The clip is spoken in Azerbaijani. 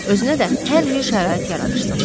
Özünə də hər yer şərait yaradırsan.